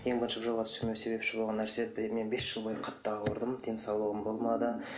ең бірінші бұл жолға түскеніме себепші болған нәрсе мен бес жыл бойы қатты ауырдым денсаулығым болмады